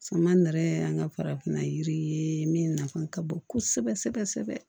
Sama yɛrɛ y'an ka farafinna yiri ye min nafa ka bon kosɛbɛ sɛbɛ kosɛbɛ